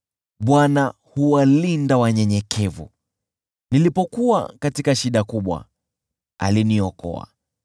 Bwana huwalinda wanyenyekevu, nilipokuwa katika shida kubwa, aliniokoa.